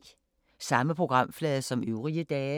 Samme programflade som øvrige dage